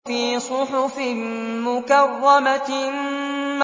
فِي صُحُفٍ مُّكَرَّمَةٍ